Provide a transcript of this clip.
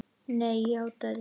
Nei, játaði